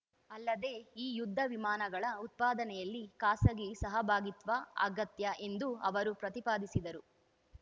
ಅಲ್ಲದೆ ಈ ಯುದ್ಧ ವಿಮಾನಗಳ ಉತ್ಪಾದನೆಯಲ್ಲಿ ಖಾಸಗಿ ಸಹಭಾಗಿತ್ವ ಅಗತ್ಯ ಎಂದು ಅವರು ಪ್ರತಿಪಾದಿಸಿದರು